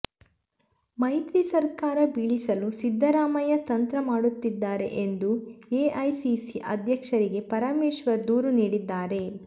ಮೈತ್ರಿ ಸರ್ಕಾರ ಬೀಳಿಸಲು ಸಿದ್ದರಾಮಯ್ಯ ತಂತ್ರ ಮಾಡುತ್ತಿದ್ದಾರೆ ಎಂದು ಎಐಸಿಸಿ ಅಧ್ಯಕ್ಷರಿಗೆ ಪರಮೇಶ್ವರ್ ದೂರು ನೀಡಿದ್ದಾರೆ